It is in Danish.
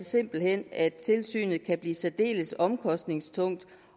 simpelt hen at tilsynet kan blive særdeles omkostningstungt